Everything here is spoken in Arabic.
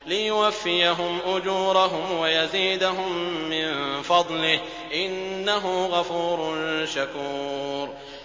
لِيُوَفِّيَهُمْ أُجُورَهُمْ وَيَزِيدَهُم مِّن فَضْلِهِ ۚ إِنَّهُ غَفُورٌ شَكُورٌ